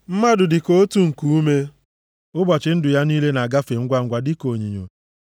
Mmadụ dị ka otu nkuume; ụbọchị ndụ ya niile na-agafe ngwangwa dịka onyinyo.